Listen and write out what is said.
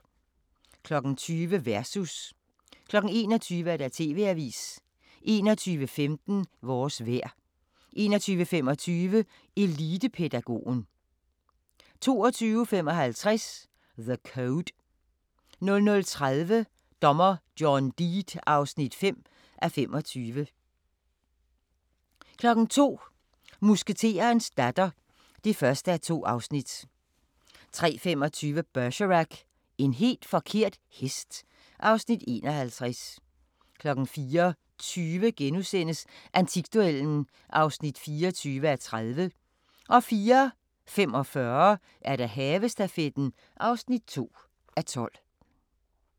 20:00: Versus 21:00: TV-avisen 21:15: Vores vejr 21:25: Elitepædagogen 22:55: The Code 00:30: Dommer John Deed (5:25) 02:00: Musketerens datter (1:2) 03:25: Bergerac: En helt forkert hest (Afs. 51) 04:20: Antikduellen (24:30)* 04:45: Havestafetten (2:12)